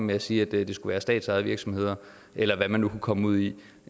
ved at sige at det skal være statsejede virksomheder eller hvad vi nu kan komme ud i